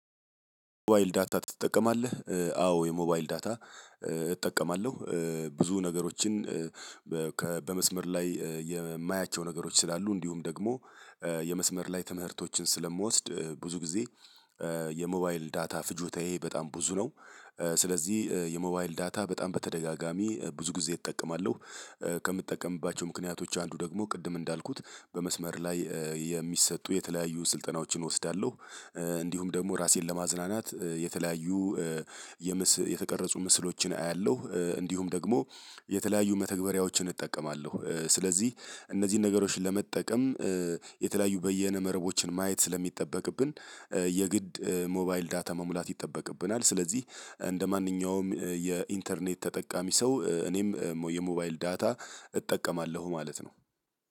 የሞባይል ዳታ ትጠቀማለህ? አዎ የሞባይል ዳታ እጠቀማለሁ ብዙ ነገሮችን። በመስመር ላይ የማያቸው ነገሮች ስላሉ እንዲሁም ደግሞ የመስመር ላይ ትምህርቶችን ስለምወስድ ብዙ ጊዜ የሞባይል ዳታ ፍጆታዬ በጣም ብዙ ነው። ስለዚህ የሞባይል ዳታ በጣም በተደጋጋሚ ብዙ ጊዜ እጠቀማለሁ። ከምጠቀምባቸው ምክንያቶች አንዱ ደግሞ ቅድም እንዳልኩት በመስመር ላይ የሚሰጡ የተለያዩ ስልጠናዎችን እወስዳለሁ። እንዲሁም ደግሞ ራሴን ለማዝናናት የተለያዩ የተቀረጹ ምስሎችን አያለሁ እንዲሁም ደግሞ የተለያዩ መተግበሪያዎችን እጠቀማለሁ። ስለዚህ እነዚህን ነገሮች ለመጠቀም የተለያዩ በየነ መረቦችን ማየት ስለሚጠበቅብን የግድ ሞባይል ዳታ መሙላት ይጠበቅብናል። ስለዚህ እንደማንኛውም የኢንተርኔት ተጠቃሚ ሰው እኔም የሞባይል ዳታ እጠቀማለሁ ማለት ነው።